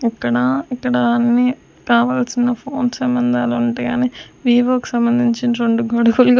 ఇక్కడ ఇక్కడ అన్నీ కావల్సిన ఫోన్ సంబంధాలు ఉంటయ్ అని వివో కి సంబంధించి రొండు --